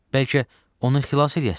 Bəlkə onu xilas eləyəsiz?